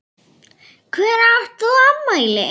Hvenær átt þú afmæli?